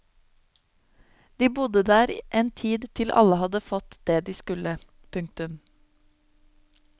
De bodde der en tid til alle hadde fått det de skulle. punktum